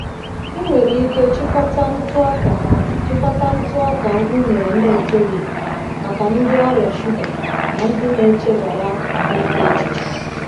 Ị nwere ike chịkọta ntụ ọka chịkọta ntụ ọka unere na-etoghị maka ndị ọrịa shuga na ndị na-echebara ahụike echiche.